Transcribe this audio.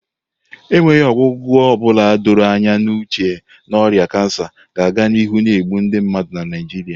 enweghị ọgwụgwọ ọ bụla doro anya n'uche na ọrịa kansa ga-aga n'ihu na-egbu ndị mmadụ na Naijiria